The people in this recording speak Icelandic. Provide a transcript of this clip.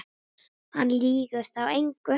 Hann lýgur þá engu.